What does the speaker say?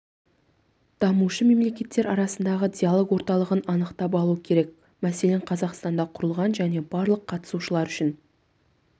дамушы мемлекеттер арасындағы диалог орталығын анықтап алу керек мәселен қазақстанда құрылған және барлық қатысушылар үшін